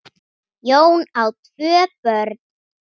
Jón á tvö börn.